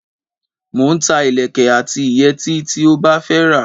Mo ń ta ìlékè àti ìyètí tí ó bá fẹ́ rà.